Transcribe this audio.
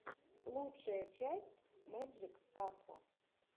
лучшая часть мэджик касла